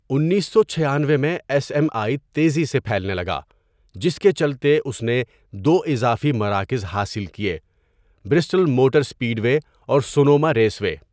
انیسو چھیانوے میں ایس ایم آئی تیزی سے پھیلنے لگا، جس کے چلتے اس نے دو اضافی مراکز حاصل کئے برسٹل موٹر سپیڈ وے اور سونوما ریس وے.